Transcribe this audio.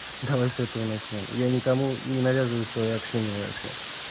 давай с этого начнём я никому не навязываю своё общение вообще